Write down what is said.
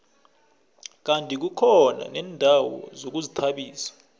kandi kukhona neendawo zokuzithabisa